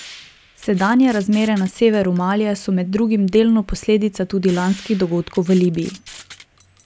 Sedanje razmere na severu Malija so med drugim delno posledica tudi lanskih dogodkov v Libiji.